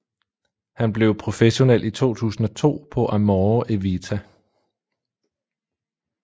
Han blev professionel i 2002 på Amore e Vita